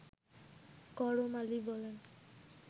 করম আলী বলেন